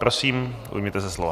Prosím, ujměte se slova.